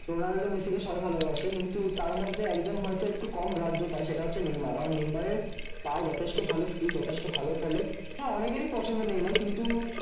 Ronaldo Messi কে সবাই ভালবাসে। কিন্তু তার মধ্যে একজন হয়তো একটু কম গ্রাহ্য পায় সেটা হচ্ছে নেইমার। নেইমারের পা যথেষ্ট ভালো স্কিল যথেষ্ট ভালো খেলে। হ্যাঁ অনেকেরই পছন্দ নেইমার্ কিন্তু